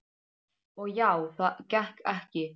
Og já, það gekk ekki.